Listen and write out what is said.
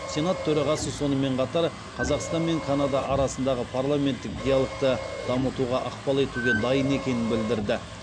сенат төрағасы сонымен қатар қазақстан мен канада арасындағы парламенттік диалогты дамытуға ықпал етуге дайын екенін білдірді